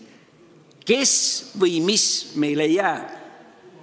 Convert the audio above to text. Kes või mis meile jääb?